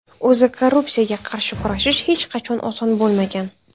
O‘zi korrupsiyaga qarshi kurashish hech qachon oson bo‘lmagan.